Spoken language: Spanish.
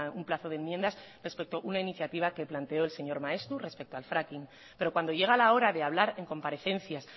un plazo de enmiendas respecto a una iniciativa que planteó el señor maeztu respecto al fracking pero cuando llega la hora de hablar en comparecencias